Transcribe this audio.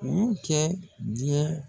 U y'u kɛ diɲɛ.